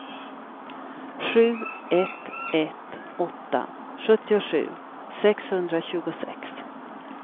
sju ett ett åtta sjuttiosju sexhundratjugosex